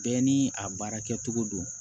Bɛɛ ni a baara kɛcogo don